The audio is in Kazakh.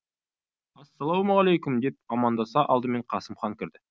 ассалаумағалейкум деп амандаса алдымен қасымхан кірді